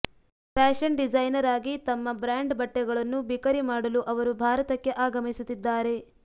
fashion designer ಆಗಿ ತಮ್ಮ brand ಬಟ್ಟೆಗಳನ್ನು ಬಿಕರಿ ಮಾಡಲು ಅವರು ಭಾರತಕ್ಕೆ ಆಗಮಿಸುತ್ತಿದ್ದಾರೆ